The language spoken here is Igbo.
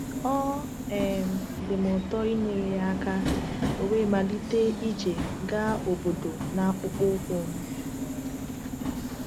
Ọ um dị m ụtọ inyere ya aka, ọ̀ we malite ije gaa obodo n’akpụkpọ ụkwụ m.